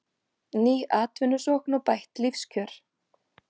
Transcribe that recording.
Ný atvinnusókn og bætt lífskjör